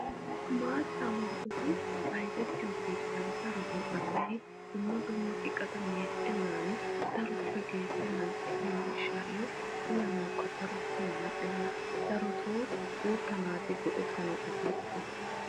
maataa muruttay bayzzettiyo keettan darotoo asay dumma dumma iqata meeccennan daroppe geeshshennan ehiyo gishaayo uyanawukka daro mal'enna. darotoo guutta naati uyanawu asay ehees.